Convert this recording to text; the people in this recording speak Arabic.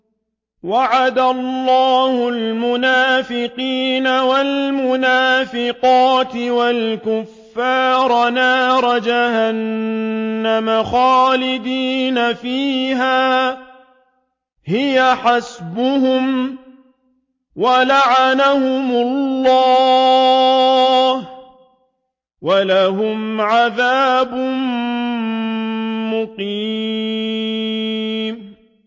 وَعَدَ اللَّهُ الْمُنَافِقِينَ وَالْمُنَافِقَاتِ وَالْكُفَّارَ نَارَ جَهَنَّمَ خَالِدِينَ فِيهَا ۚ هِيَ حَسْبُهُمْ ۚ وَلَعَنَهُمُ اللَّهُ ۖ وَلَهُمْ عَذَابٌ مُّقِيمٌ